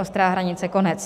Ostrá hranice, konec.